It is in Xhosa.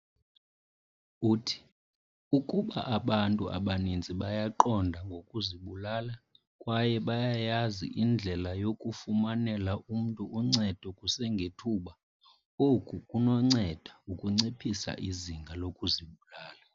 Uthi, "Ukuba abantu abaninzi bayaqonda ngokuzibulala kwaye bayayazi indlela yokufumanela umntu uncedo kusengethuba, oku kunonceda ukunciphisa izinga lokuzibulala,